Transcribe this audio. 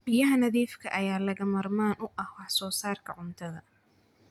Biyaha nadiifka ah ayaa lagama maarmaan u ah wax soo saarka cuntada.